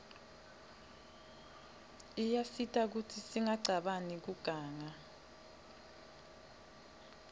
iyasita kutsi singacabani kuganga